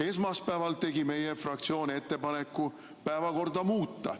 Esmaspäeval tegi meie fraktsioon ettepaneku päevakorda muuta.